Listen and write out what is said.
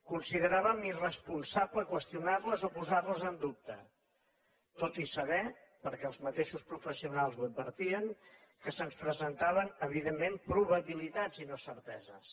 consideràvem irresponsable qüestionar les o posar les en dubte tot i saber perquè els mateixos professionals ho advertien que se’ns presentaven evidentment probabilitats i no certeses